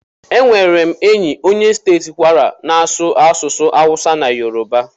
Enwere m enyi onye steeti Kwara na-asụ asụsụ Hausa na Yoruba.